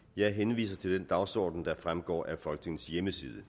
jeg henviser til den dagsorden der fremgår af folketingets hjemmeside